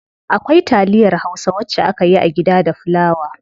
Akwai taliyar hausa wacce akeyi a gida da fulawa.